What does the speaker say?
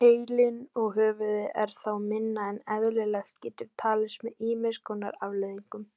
Heilinn og höfuðið er þá minna en eðlilegt getur talist með ýmis konar afleiðingum.